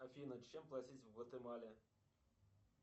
афина чем платить в гватемале